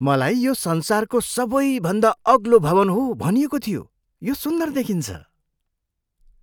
मलाई यो संसारको सबैभन्दा अग्लो भवन हो भनिएको थियो। यो सुन्दर देखिन्छ!